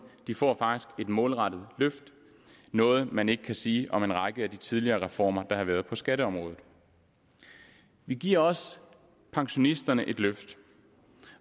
de får et målrettet løft noget man ikke kan sige om en række af de tidligere reformer der har været på skatteområdet vi giver også pensionisterne et løft